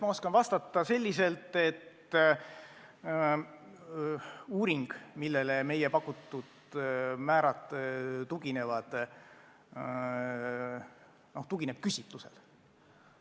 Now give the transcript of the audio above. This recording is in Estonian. Ma oskan vastata selliselt, et uuring, millele meie pakutud määrad tuginevad, tugineb küsitlusele.